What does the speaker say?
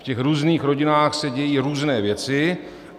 V těch různých rodinách se dějí různé věci.